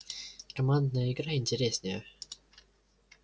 командная игра интереснее